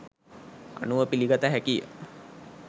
අනුව පිළිගත හැකිය.